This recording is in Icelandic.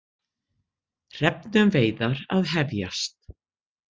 Hrefnuveiðar að hefjast